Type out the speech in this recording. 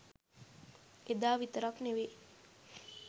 එදා විතරක් නෙවෙයි